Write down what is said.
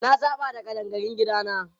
Na saba da ƙadangarun gidana.